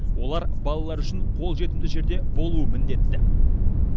олар балалар үшін қолжетімді жерде болуы міндетті